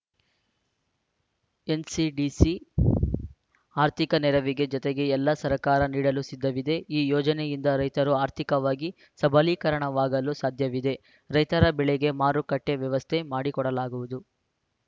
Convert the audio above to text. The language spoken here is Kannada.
ಎನ್‌ಸಿಡಿಸಿ ಆರ್ಥಿಕ ನೆರವಿನ ಜತೆಗೆ ಎಲ್ಲಾ ಸಹಕಾರ ನೀಡಲು ಸಿದ್ಧವಿದೆ ಈ ಯೋಜನೆಯಿಂದ ರೈತರು ಆರ್ಥಿಕವಾಗಿ ಸಬಲೀಕರಣವಾಗಲು ಸಾಧ್ಯವಿದೆ ರೈತರ ಬೆಳೆಗೆ ಮಾರುಕಟ್ಟೆವ್ಯವಸ್ಥೆ ಮಾಡಿಕೊಡಲಾಗುವುದು